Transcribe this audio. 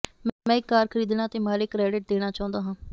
ਮੈਂ ਇੱਕ ਕਾਰ ਖਰੀਦਣਾ ਅਤੇ ਮਾੜੇ ਕ੍ਰੈਡਿਟ ਦੇਣਾ ਚਾਹੁੰਦਾ ਹਾਂ